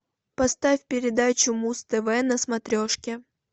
поставь передачу муз тв на смотрешке